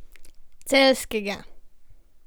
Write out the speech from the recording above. Celjskega.